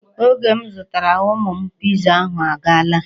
Oge m zụtara ụmụ m Piza ahụ agaala.